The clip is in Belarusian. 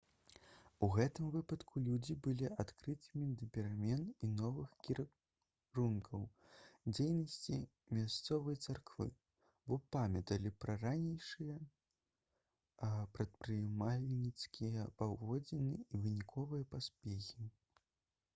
у гэтым выпадку людзі былі адкрытымі да перамен і новых кірункаў дзейнасці мясцовай царквы бо памяталі пра ранейшыя прадпрымальніцкія паводзіны і выніковыя поспехі